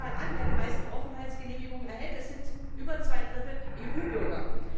Schaut man sich einmal an, wer die meisten Aufenthaltsgenehmigungen erhält es sind zu über zwei Dritteln EU Bürger.